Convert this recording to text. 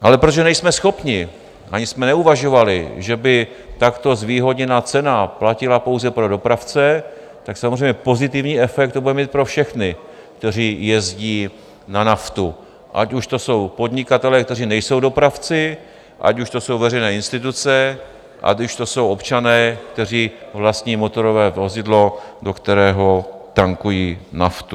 Ale protože nejsme schopni, ani jsme neuvažovali, že by takto zvýhodněná cena platila pouze pro dopravce, tak samozřejmě pozitivní efekt to bude mít pro všechny, kteří jezdí na naftu, ať už to jsou podnikatelé, kteří nejsou dopravci, ať už do jsou veřejné instituce, ať už to jsou občané, kteří vlastní motorové vozidlo, do kterého tankují naftu.